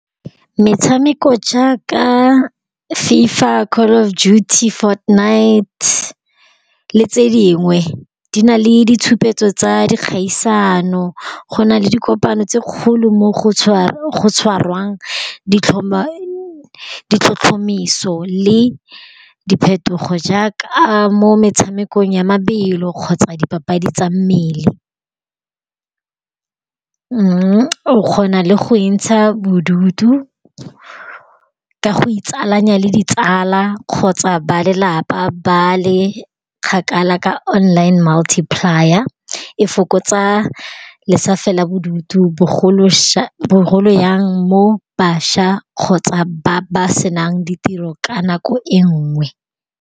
Metshameko ja ka Fifa, Call of Duty, Fortnite le tse dingwe di na le ditshupetso tsa dikgaisano. Go na le dikopano tse kgolo mo go tshwarwang ditlhotlhomiso le diphetogo jaaka mo metshamekong ya mabelo kgotsa dipapadi tsa mmele. O kgona le go iintsha bodutu ka go itsalanya le ditsala kgotsa ba lelapa ba le kgakala ka online muliplier. E fokotsa le sa fela bodutu bogolo jang mo bašwa kgotsa ba ba se nang ditiro ka nako e nngwe.